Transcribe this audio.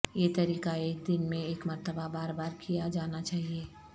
یہ طریقہ ایک دن میں ایک مرتبہ بار بار کیا جانا چاہئے